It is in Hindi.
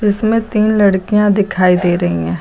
इसमें तीन लड़कियां दिखाई दे रही है।